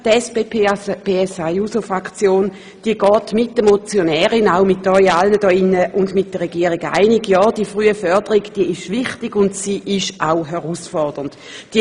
Die SP-JUSO-PSA-Fraktion geht mit der Motionärin, mit Ihnen allen und mit der Regierung einig, dass die frühe Förderung wichtig und auch herausfordernd ist.